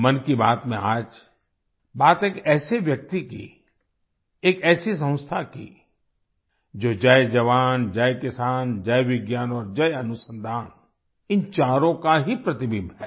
मन की बात में आज बात एक ऐसे व्यक्ति की एक ऐसी संस्था की जो जय जवान जय किसान जय विज्ञान और जय अनुसंधान इन चारों का ही प्रतिबिंब है